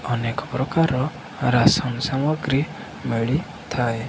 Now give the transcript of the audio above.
ଅନେକ ପ୍ରକାରର ରାସନ୍ ସାମଗ୍ରୀ ମିଳିଥାଏ।